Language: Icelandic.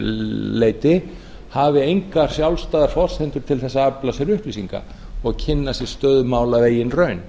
leyti hafi engar sjálfstæðar forsendur til þess að afla sér upplýsinga og kynna sér stöðu mála af eigin raun